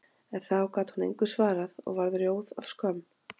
En þá gat hún engu svarað og varð rjóð af skömm.